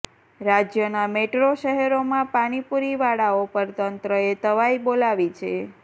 રાજ્યના મેટ્રો શહેરોમા પાણીપુરી વાળાઓ પર તંત્રએ તવાઈ બોલાવી છે